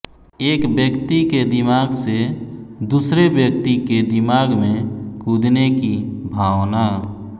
एक व्यक्ति के दिमाग से दूसरे व्यक्ति के दिमाग में कूदने की भावना